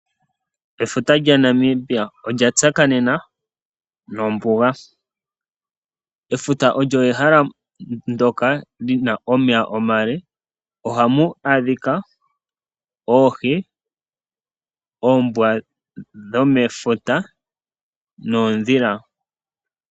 Efuta lya Namibia olya tsakanena nombuga. Efuta olyo ehala ndyoka lina omeya omale . Ohamu adhika oohi, oombwa dhomomeya noondhila.